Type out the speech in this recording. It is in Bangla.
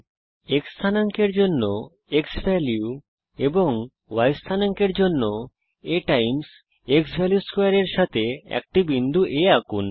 x স্থানাঙ্ক এর জন্য ক্সভ্যালিউ এবং y স্থানাঙ্ক এর জন্য a xValue2 এর সাথে একটি বিন্দু A আঁকুন